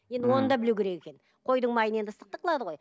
енді оны да білу керек екен қойдың майын енді ыстықтық қылады ғой